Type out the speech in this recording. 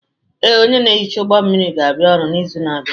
Ee, onye na-ehicha ụgbọ mmiri ga-abịa ọrụ n'izu na-abịa.